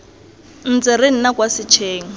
ntse re nna kwa setsheng